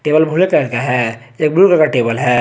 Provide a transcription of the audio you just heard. एक blue colour का table है।